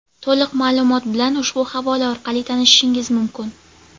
to‘liq ma’lumot bilan ushbu havola orqali tanishishingiz mumkin.